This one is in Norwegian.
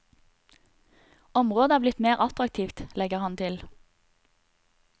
Området er blitt mer attraktivt, legger han til.